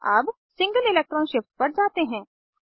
अब single electron shift पर जाते हैं